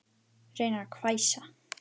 Reynir að hvæsa.